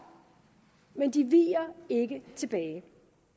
men de viger ikke tilbage